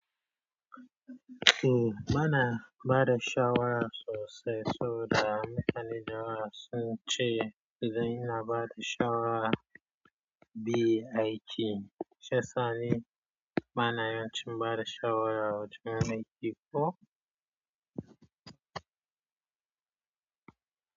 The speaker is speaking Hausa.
O bana bada shawara sosai. Saboda mutani da yawa sun ce dan ina bada shawara bai aiki. Shi yasa ni bana yawancin bada shawara wajen aiki ko.